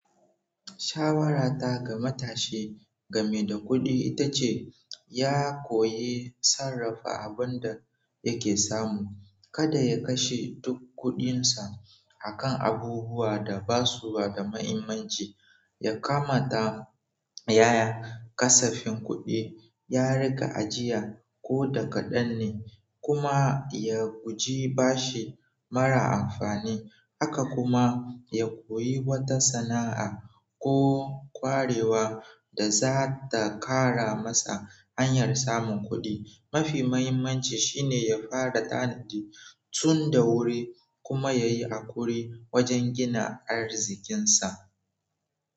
Shawara ta ga matashi game da kuɗi ita ce ya koyi sarrafa abin da yake samu. Kada ya kashe duk kuɗinsa a kan abubuwa da ba su da mahimmanci. Ya kamata yays kasafin kuɗi, ya riƙa ajiya ko da kaɗan ne kuma ya guji bashi mara amfani. Haka kuma, ya koyi wata sana'a ko ƙwarewa da za ta kara masa hanyar samun kuɗi. Mafi mahimmanci shine ya fara tanadi tun da wuri kuma yayi akuri wajen gina arzikinsa.